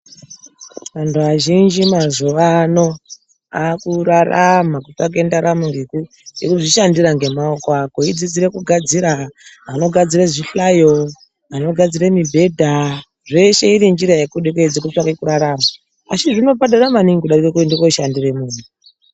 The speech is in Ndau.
Anthu azhinji mazuvaano aakurarama kutsvake ndaramo ngekuzvishandira ngemaoko ako eidzidzira kugadzira anogadzira zvihlayo anogadzira mibhedha zveshe iri njira yekudededza kutsvake kurarama asi zvinobhadhara maningi kudarike kuende kooshandire munthu.